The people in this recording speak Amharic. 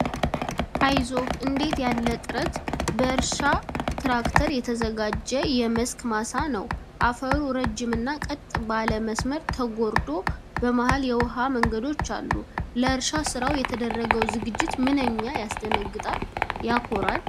"አይዞህ! እንዴት ያለ ጥረት!" በእርሻ ትራክተር የተዘጋጀ የመስክ ማሳ ነው። አፈሩ ረጅም እና ቀጥ ባለ መስመር ተጎርዶ፣ በመሃል የውሃ መንገዶች አሉ። ለእርሻ ስራው የተደረገው ዝግጅት "ምንኛ ያስደንቃል!" ፣ "ሲያኮራ!"